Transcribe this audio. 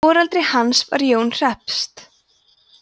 foreldri hans voru jón hreppst